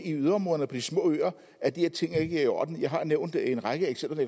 yderområderne og på de små øer at de her ting ikke er i orden jeg har nævnt en række eksempler